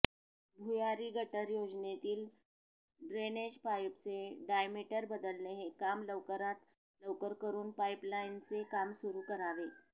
भुयारी गटर योजनेतील ड्रेनेजपाईपचे डायमीटर बदलणे हे काम लवकरात लवकर करून पाईपलाईनचे काम सुरू करावे